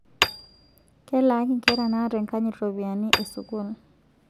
Kelaaki nkera naata enkanyit ropiyiani e sukuul